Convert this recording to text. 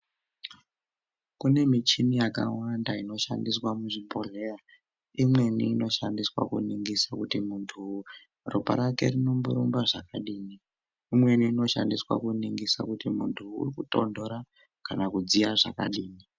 Kune michini yakawanda ino shandiswa muzvi bhohleya imweni ino shandiswa ku ningiswa kuti muntu ropa rake rinombo rumba zvakadini imweni ino shandiswa ku ningiswa kuti muntu uriku tondora kana kudziya zvakadini.